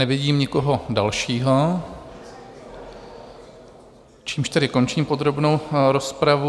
Nevidím nikoho dalšího, čímž tedy končím podrobnou rozpravu.